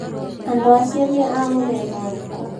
Andũ acio nĩ a mũthemba ũrĩkũ?